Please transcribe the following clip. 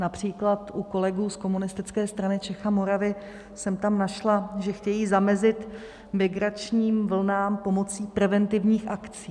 Například u kolegů z Komunistické strany Čech a Moravy jsem tam našla, že chtějí zamezit migračním vlnám pomocí preventivních akcí.